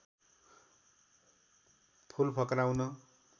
फूल फक्राउन